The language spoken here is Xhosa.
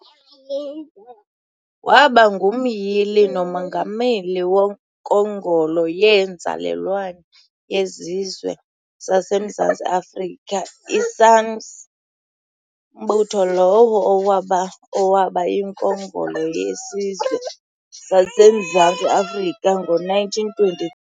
Waba ngumyili nomongameli wonkongolo yeeNzalelwane zeSizwe sazemZantsi Afrika, i-SANNC, mbutho lowo owaba owaba yiNkongolo yeSizwe sasemZantsi Afrika ngo-1920.